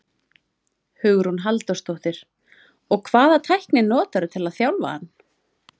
Hugrún Halldórsdóttir: Og hvaða tækni notarðu til að þjálfa hann?